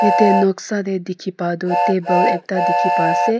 jaate noksa te dekhi pai tu table ekta dekhi pa ase.